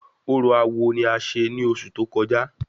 Orò awo ni a ṣe ní ọsù tó kọjá